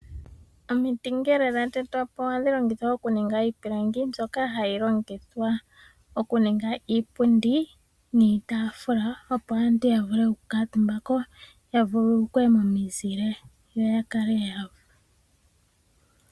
Omiti ngele dha tetwa po ohadhi longithwa okuninga iipilangi, mbyoka hayi longithwa okuninga iipundi niitaafula opo aantu ya vule oku kaatumba ko ya vululukwe momizile.